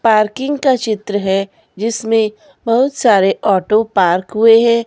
Parking का चित्र है जिसमें बहुत सारे ऑटो पार्क हुए है।